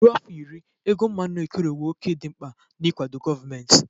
Ruo afọ iri, ego mmanụ ekerewo òkè dị mkpa n'ịkwado gọọmenti.